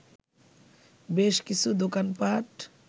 বেশ কিছু দোকান পাট